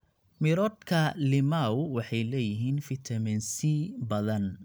Miroodhka limao waxay leeyihiin fitamiin C badan.